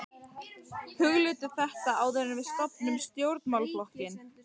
Hugleiddu þetta áður en við stofnum stjórnmálaflokkinn!